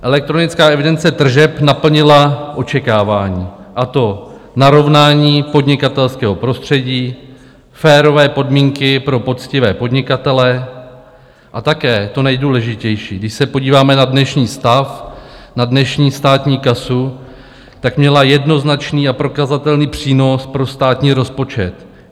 Elektronická evidence tržeb naplnila očekávání, a to narovnání podnikatelského prostředí, férové podmínky pro poctivé podnikatele a také to nejdůležitější - když se podíváme na dnešní stav, na dnešní státní kasu, tak měla jednoznačný a prokazatelný přínos pro státní rozpočet.